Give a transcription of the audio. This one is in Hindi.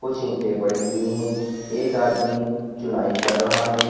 पड़ी हुई है एक आदमी चुनाई कर रहा है।